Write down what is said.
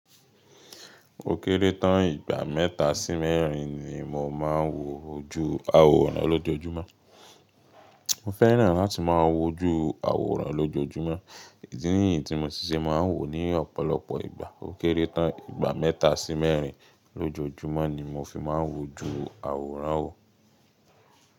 Ó kéré tán ìgbà mẹ́ta sí mẹ́rin ni mo máa ń wo ju àwòrán lọ lójoojúmọ́. Mo fẹ́ràn láti máa wo ju àwòrán lọ lójoojúmọ́, idí nìyí tí mo ti ṣe máa ń wò ní ọ̀pọ̀lọpọ̀ ìgbà. Ó kéré tán ìgbà mẹ́ta sí mẹ́rin lójoojúmọ́ ni mo fi máa ń wo ju àwòrán wo.